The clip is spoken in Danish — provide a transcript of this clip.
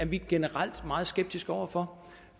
vi generelt meget skeptiske over for